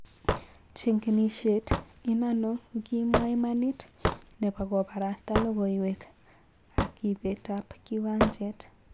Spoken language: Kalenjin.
Chengenishet inano ukimwa imanit chepo koparasta logowek ak ipet ap kiwanjet